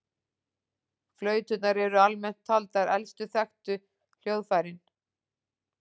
Flauturnar eru almennt taldar elstu þekktu hljóðfærin.